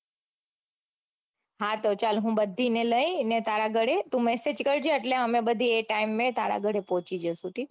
હા તો ચાલ હું બધીને લઈને તારા ઘરે તું message કરજે એટલે અમે બધી એ ટાઈમે તારા ઘરે પોહચી જાસુ ઠીક છે.